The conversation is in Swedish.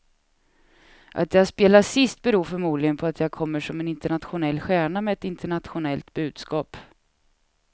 Att jag spelar sist beror förmodligen på att jag kommer som en internationell stjärna med ett internationellt budskap.